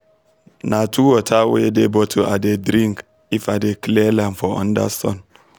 na two water wey dey bottle i dey drink if i dey clear land for under sun